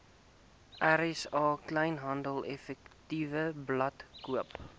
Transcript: rsa kleinhandeleffektewebblad koop